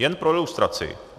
Jen pro ilustraci.